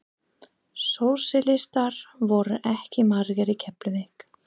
Sósíalistar voru ekki margir í Keflavík.